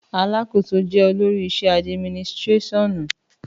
Àlàkósò jẹ òlòrí ìsẹ adímínìsirẹsiọnu